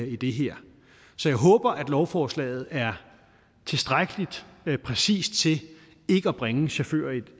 i det her så jeg håber at lovforslaget er tilstrækkelig præcist til ikke at bringe chauffører i